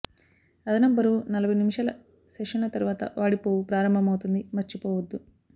అదనపు బరువు నలభై నిమిషాల సెషన్ల తర్వాత వాడిపోవు ప్రారంభమవుతుంది మర్చిపోవద్దు